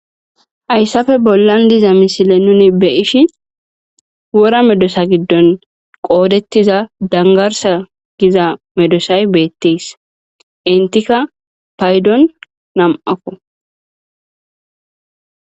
Hayssappe bollan diza misile nuni beyishshin wora medossotappe isuwa gidida dangarss giza medossay beettes entikka nam"akko